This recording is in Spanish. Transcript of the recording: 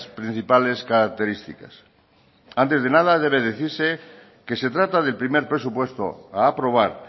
principales características antes de nada debe decirse que se trata del primer presupuesto a aprobar